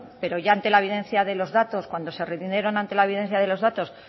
pero ya ante la evidencia de los datos cuando se rindieron ante la evidencia de los datos